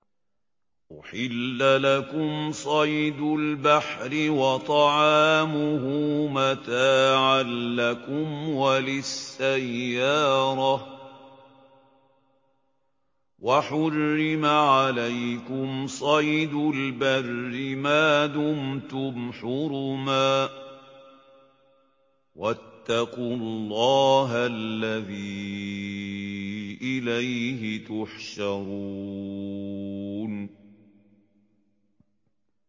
أُحِلَّ لَكُمْ صَيْدُ الْبَحْرِ وَطَعَامُهُ مَتَاعًا لَّكُمْ وَلِلسَّيَّارَةِ ۖ وَحُرِّمَ عَلَيْكُمْ صَيْدُ الْبَرِّ مَا دُمْتُمْ حُرُمًا ۗ وَاتَّقُوا اللَّهَ الَّذِي إِلَيْهِ تُحْشَرُونَ